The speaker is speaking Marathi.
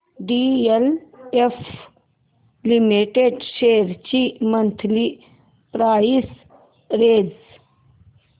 डीएलएफ लिमिटेड शेअर्स ची मंथली प्राइस रेंज